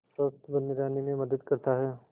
स्वस्थ्य बने रहने में मदद करता है